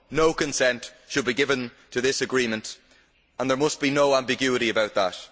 No consent should be given to this agreement and there must be no ambiguity about that.